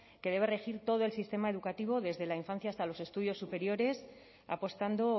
que debe regir todo el sistema educativo desde la infancia hasta los estudios superiores apostando